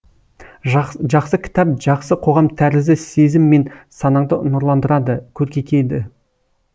жақсы кітап жақсы қоғам тәрізді сезім мен санаңды нұрландырады көркейтеді